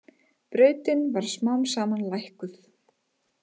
Brautin var smám saman lækkuð.